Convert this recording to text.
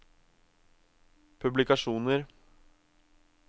publikasjoner